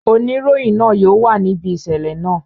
Oniroyin naa yóò wa nibi iṣẹlẹ naa.